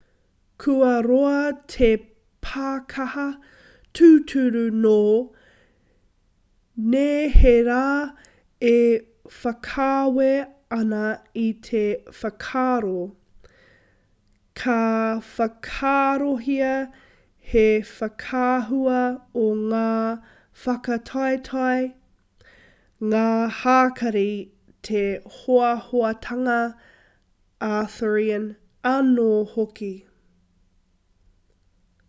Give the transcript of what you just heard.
kua roa te pākaha tūturu nō neherā e whakaawe ana i te whakaaro ka whakaarohia he whakaahua o ngā whakataetae ngā hākari te hoahoatanga arthurian anō hoki